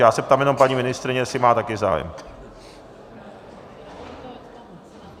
Já se ptám jenom paní ministryně, jestli má také zájem.